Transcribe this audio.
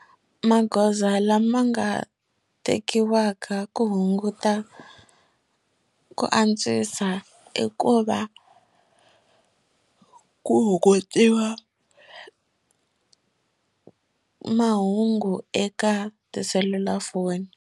Magoza lama nga tekiwaka ku hunguta ku antswisa i ku va ku hungutiwa mahungu eka tiselulafoni.